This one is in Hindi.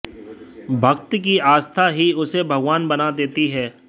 भक्त की आस्था ही उसे भगवान बना देती है